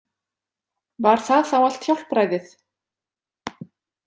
Var það þá allt hjálpræðið?